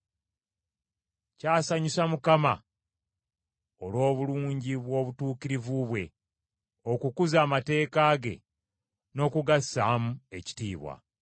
Kyasanyusa Mukama olw’obulungi obw’obutuukirivu bwe okukuza amateeka ge n’okugassaamu ekitiibwa.